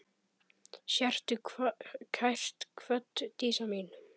Sértu kært kvödd, Dísa mín.